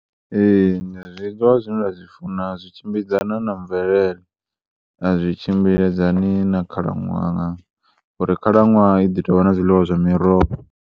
Ee, zwiḽiwa zwine nda zwi funa zwi tshimbidzana na mvelele, a zwi tshimbidzani na khalaṅwaha ngori khalaṅwaha i ḓi tovha na zwifhinga zwa miroho.